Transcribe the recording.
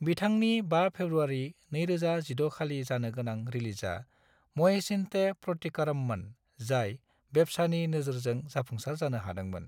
बिथांनि 5 फेब्रुवारि 2016 खालि जानो गोनां रिलीजआ महेशिन्ते प्रतिकारममोन, जाय बेब्सानि नोजोरजों जाफुंसार जानो हादोंमोन।